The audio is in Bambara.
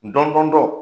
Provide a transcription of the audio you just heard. Dɔndɔn